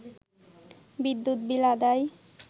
বিদ্যুৎ বিল আদায়